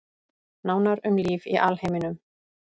Nánar um líf í alheiminum